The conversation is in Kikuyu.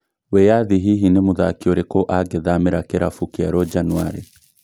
Wĩyathi hihi ni mũthaki ũrĩkũ angĩthamĩra kĩrabu kĩerũ Januarĩ?